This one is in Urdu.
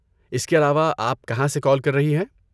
اس کے علاوہ، آپ کہاں سے کال کر رہی ہیں؟